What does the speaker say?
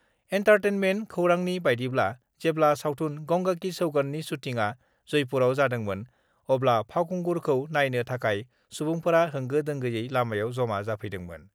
Entertainment खौरांनि बायदिब्ला जेब्ला सावथुन 'गंगा कि सौगंध' नि शुटिंआ जयपुरआव जादोंमोन अब्ला फावखुंगुरखौ नायनो थाखाय सुबुंफोरा होंगो-दोंगोयै लामायाव जमा जाफैंदोंमोन।